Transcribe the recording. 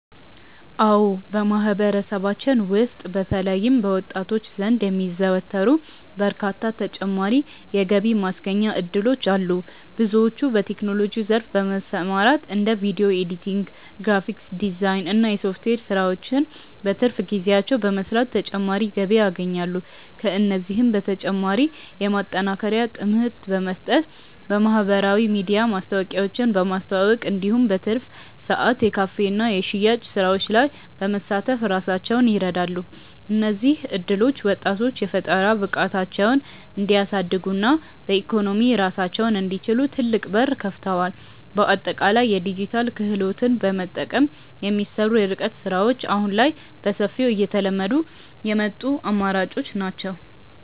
አዎ በማህበረሰባችን ውስጥ በተለይም በወጣቶች ዘንድ የሚዘወተሩ በርካታ ተጨማሪ የገቢ ማስገኛ እድሎች አሉ። ብዙዎች በቴክኖሎጂው ዘርፍ በመሰማራት እንደ ቪዲዮ ኤዲቲንግ፣ ግራፊክስ ዲዛይን እና የሶፍትዌር ስራዎችን በትርፍ ጊዜያቸው በመስራት ተጨማሪ ገቢ ያገኛሉ። ከእነዚህም በተጨማሪ የማጠናከሪያ ትምህርት በመስጠት፣ በማህበራዊ ሚዲያ ማስታወቂያዎችን በማስተዋወቅ እንዲሁም በትርፍ ሰዓት የካፌና የሽያጭ ስራዎች ላይ በመሳተፍ ራሳቸውን ይረዳሉ። እነዚህ እድሎች ወጣቶች የፈጠራ ብቃታቸውን እንዲያሳድጉና በኢኮኖሚ ራሳቸውን እንዲችሉ ትልቅ በር ከፍተዋል። በአጠቃላይ የዲጂታል ክህሎትን በመጠቀም የሚሰሩ የርቀት ስራዎች አሁን ላይ በሰፊው እየተለመዱ የመጡ አማራጮች ናቸው።